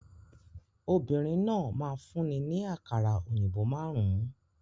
Obìnrin náà máa fún ni ní àkàrà òyìnbó márùn-ún.